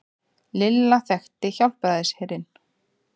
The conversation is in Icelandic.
Lilla þekkti Hjálpræðisherinn.